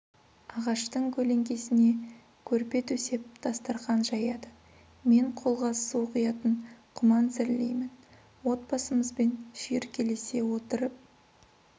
ағаштың көлеңкесіне көрпе төсеп дастархан жаяды мен қолға су құятын құман зірлеймін отбасымызбен шүйіркелесе отырып